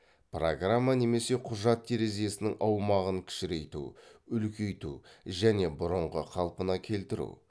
программа немесе құжат терезесінің аумағын кішірейту үлкейту және бұрынғы қалпына келтіру